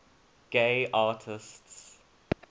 gay artists